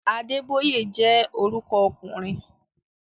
Adébóyè jẹ́ orúkọ ọkùnrin